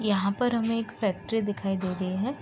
यहाँ पर हमें एक फैक्ट्री दिखाई दे रही है।